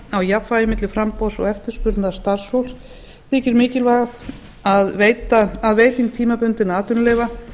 á jafnvægi milli framboðs og eftirspurnar starfsfólks þykir mikilvægaast að veiting tímabundinna atvinnuleyfa